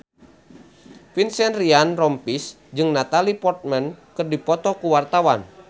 Vincent Ryan Rompies jeung Natalie Portman keur dipoto ku wartawan